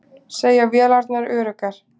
Segja vélarnar öruggar